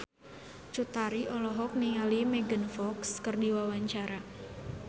Cut Tari olohok ningali Megan Fox keur diwawancara